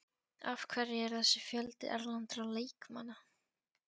Af hverju er þessi fjöldi erlendra leikmanna?